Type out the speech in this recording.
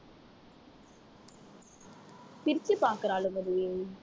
பிரிச்சு பாக்குறாளுங்கடி